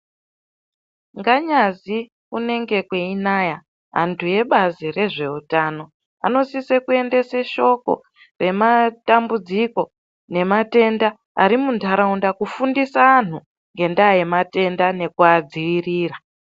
Nganyazi kunenge kweinaya andu ebazi rezveutano anosise kuendese shoko rematambudziko nematenda ari mundaraunda, kufundisa anhu ngendaa yematenda nekuma dziirira.